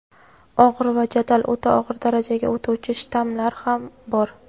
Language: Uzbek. og‘ir va jadal o‘ta og‘ir darajaga o‘tuvchi shtammlari ham bor.